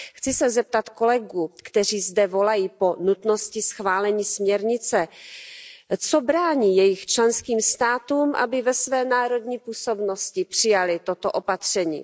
Chci se zeptat kolegů, kteří zde volají po nutnosti schválení směrnice, co brání jejich členským státům, aby ve své národní působnosti přijaly toto opatření?